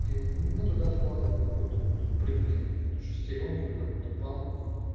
и мы туда вкладываем какой-то вот предмет какую-то шестерёнку или какую-то палку